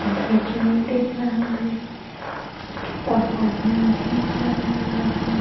Bridge भी दिख रहा है कुछ पहाड़िया भी दिखाई दे रहीं।